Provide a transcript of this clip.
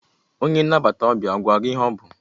Onye nnabata ọbịa ọ gwara gị ihe ọ bụ?